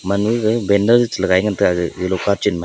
pan ma ga banner je che lagai ngan tega lungka chen ma.